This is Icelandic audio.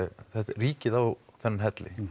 ríkið á þennan helli